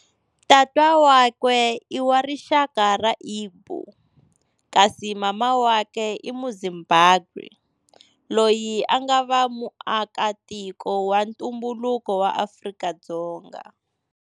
Tata wakwe i wa rixaka ra Igbo, kasi mana wakwe i Muzimbabwe loyi a nga va muakatiko wa ntumbuluko wa Afrika-Dzonga.